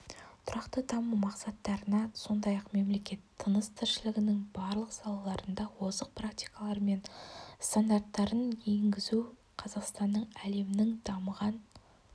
тұрақты даму мақсаттарына сондай-ақ мемлекет тыныс-тіршілігінің барлық салаларында озық практикалар мен стандарттарын енгізу қазақстанның әлемнің дамыған